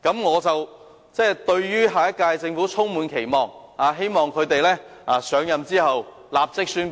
我對下屆政府充滿期望，希望新政府上任後會立即宣布相關措施。